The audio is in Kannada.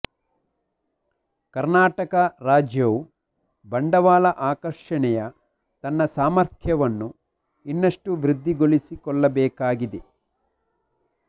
ಕರ್ನಾಟಕ ರಾಜ್ಯವು ಬಂಡವಾಳ ಆಕರ್ಷಣೆಯ ತನ್ನ ಸಾಮರ್ಥ್ಯವನ್ನು ಇನ್ನಷ್ಟು ವೃದ್ಧಿಗೊಳಿಸಿಕೊಳ್ಳಬೇಕಾಗಿದೆ